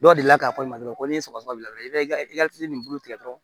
Dɔw deli la k'a fɔ i ma dɔgɔnɔ ko ni sɔgɔsɔgɔ bila i be i ka nin bulu tigɛ dɔrɔn